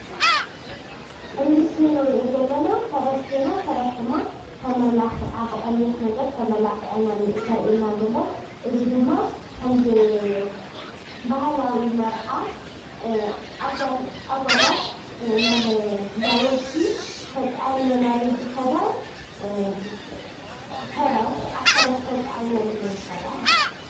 ኣብዚ ምስሊ ንሪኦ ዘለና ፈረስ ኮይና፣ ፈረስ ተመላኺዓ ብቀይሕ ነገር ተመላኪዓ እዩ ዘረኢና ዘሎ። እዚ ድማ ከምዚ ባህላዊ መርዓ እጓላት ናብ እንዳ ወዲ ተፃዒነናሉ ዝኸዳ፣ ኣብ ፈረስ ተፃዒነን እየን ዝኸዳ::